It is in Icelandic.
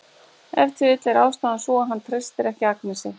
Ef til vill er ástæðan sú að hann treystir ekki Agnesi.